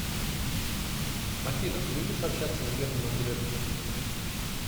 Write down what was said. афина любишь общаться с германом грефом